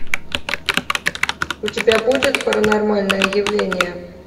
у тебя будет паранормальное явление